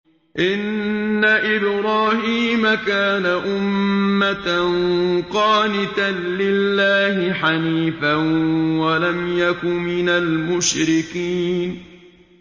إِنَّ إِبْرَاهِيمَ كَانَ أُمَّةً قَانِتًا لِّلَّهِ حَنِيفًا وَلَمْ يَكُ مِنَ الْمُشْرِكِينَ